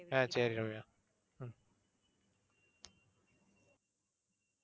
அஹ் சரி ரம்யா